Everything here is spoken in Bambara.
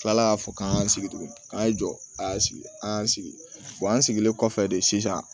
kila la ka fɔ k'an y'an sigi tuguni k'an ye jɔ a y'an sigi an y'an sigi an sigilen kɔfɛ de sisan